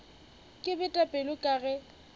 ke bete pelo ka ge